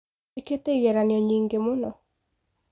Njĩkite igeranio nyĩngĩ mũno.